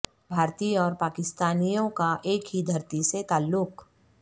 بھارتی اور پاکستانیوں کا ایک ہی دھرتی سے تعلق